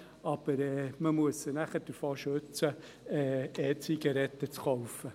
Nachher muss man sie aber davor schützen, E-Zigaretten zu kaufen.